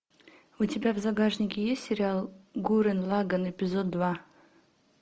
у тебя в загашнике есть сериал гуррен лаганн эпизод два